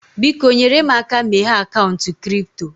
Biko, nyere m aka meghee akaụntụ kripto